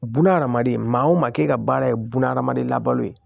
Bunahadamaden maa o maa ke e ka baara ye bunahadamaden labalo ye